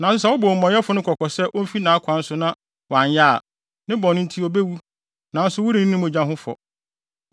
Nanso sɛ wobɔ omumɔyɛfo no kɔkɔ sɛ omfi nʼakwan so na sɛ wanyɛ a, ne bɔne nti, obewu, nanso worenni ne mogya ho fɔ.